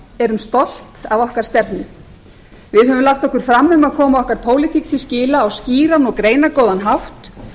erum stolt af okkar stefnu við höfum lagt okkur fram um að koma okkar pólitík til skila á skýran og greinargóðan hátt